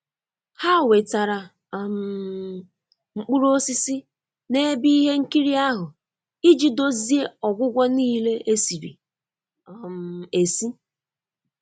Ha wetara um mkpụrụ osisi na ebe ihe nkiri ahụ iji dozie ọgwụgwọ niile esiri um esi.